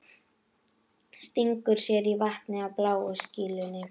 Stingur sér í vatnið á bláu skýlunni.